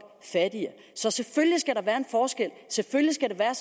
fattigere selvfølgelig skal der